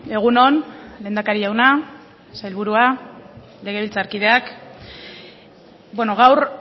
egun on lehendakari jauna sailburua legebiltzarkideak gaur